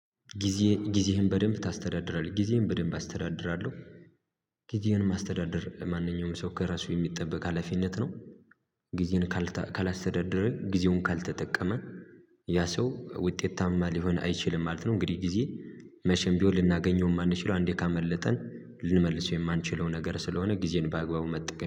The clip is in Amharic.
ጊዜ ጊዜህን በደንብ ታስተዳድራለህ ጊዜዬን በደንብ አስተዳድራለሁ ጊዜህን ማስተዳደር ማንኛውም ሰው ከራሱ የሚጠበቅ ሀላፊነት ነው። ጊዜን ካላስተዳደረ ጊዜውን ካልተጠቀመ ያ ሰው ውጤታማ ሊሆን አይችልም ማለት ነው እንግዲህ ጊዜ መቼም ቢሆን ልናገኘው የማንችለው አንዴ ካመለጠን ልንመልሰው የማንችለው ነገር ስለሆነ ጊዜን በአግባቡ መጠቀም